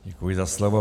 Děkuji za slovo.